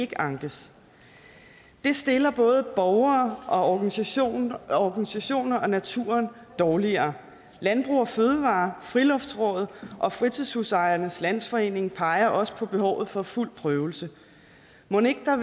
kan ankes det stiller både borgere og organisationer og organisationer og naturen dårligere landbrug fødevarer friluftsrådet og fritidshusejernes landsforening peger også på behovet for fuld prøvelse mon ikke der